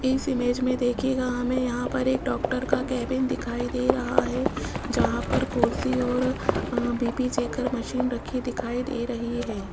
इस इमेज में देखिएगा हमें यहां पर एक डॉक्टर का केबिन दिखाई दे रहा है जहां पर कुर्सी और बी_पी अ चेकर मशीन रखी दिखाई दे रही है।